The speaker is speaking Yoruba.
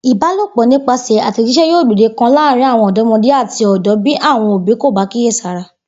Ìbálòpò̩ nípasè̩ àtè̩jís̩é̩ yóò gbòde kan láàárín àwo̩n ò̩dó̩mo̩dé àti ò̩dó̩ bí àwo̩n òbí kò bá kíyèsára